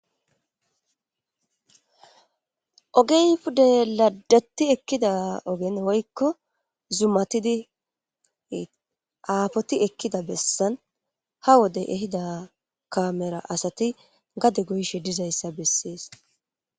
ogey pudde ladati ekkida ogen woykko zumatidi aafoti ekkida bessan ha wodey ehida kaamera asati gade goyshe dizayssa bessees